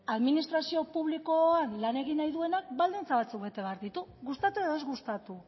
administrazio publikoan lan egin nahi duenak baldintza batzuk bete behar ditu gustatu edo ez gustatu